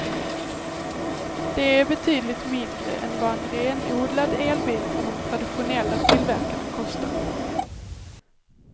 Det är betydligt mindre än vad en renodlad elbil från de traditionella tillverkarna kostar.